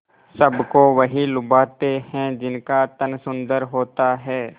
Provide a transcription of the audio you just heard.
सबको वही लुभाते हैं जिनका तन सुंदर होता है